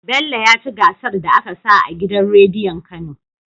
Bello yaci gasar da aka sa a gidan rediyon kano